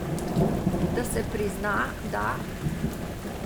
Da se prizna, da ...